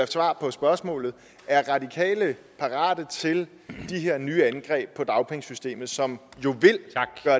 svar på spørgsmålet er radikale parate til de her nye angreb på dagpengesystemet som jo